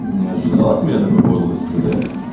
не ожидал от меня такой подлости да